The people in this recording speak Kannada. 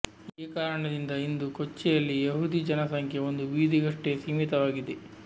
ಈ ಕಾರಣದಿಂದ ಇಂದು ಕೊಚ್ಚಿಯಲ್ಲಿ ಯೆಹೂದಿ ಜನಸಂಖ್ಯೆ ಒಂದು ಬೀದಿಗಷ್ಟೇ ಸೀಮಿತವಾಗಿದೆ